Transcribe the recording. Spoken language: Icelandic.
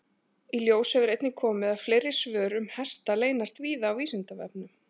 Í ljós hefur einnig komið að fleiri svör um hesta leynast víða á Vísindavefnum.